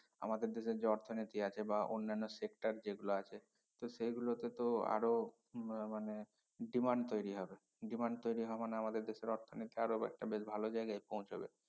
আমাদের দেশের যে অর্থনীতি আছে বা অন্যান্য sector যেগুলো আছে তো সেইগুলোতে তো আরও আহ মানে demand তৈরি হবে demand তৈরি হওয়া মানে আমাদের দেশের অর্থনীতি আরো একটা বেশ ভালো জায়গায় পৌছবে